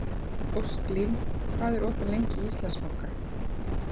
Ósklín, hvað er opið lengi í Íslandsbanka?